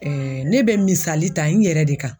ne bɛ misali ta n yɛrɛ de kan